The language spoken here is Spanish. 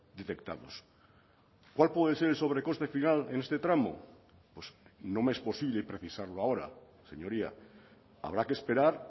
detectados cuál puede ser el sobrecoste final en este tramo pues no me es posible precisarlo ahora señoría habrá que esperar